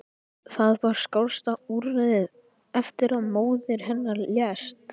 Það var skásta úrræðið eftir að móðir hennar lést.